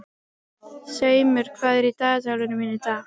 Seimur, hvað er í dagatalinu mínu í dag?